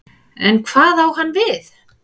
En hvað á hann við?